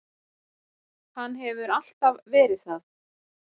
Hann hefur alltaf verið það.